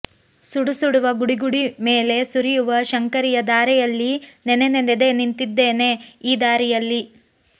ಸುಡುಸುಡುವ ಗುಡುಗುಡಿ ಮೇಲೆ ಸುರಿಯುವ ಶಂಕರಿಯ ಧಾರೆಯಲ್ಲಿ ನೆನೆದೇ ನಿಂತಿದ್ದೇನೆ ಈ ದಾರಿಯಲ್ಲಿ